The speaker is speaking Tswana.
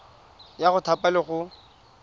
ya go thapa le go